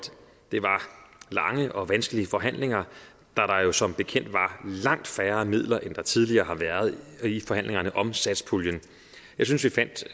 det var lange og vanskelige forhandlinger da der jo som bekendt var langt færre midler end der tidligere har været i forhandlingerne om satspuljen jeg synes vi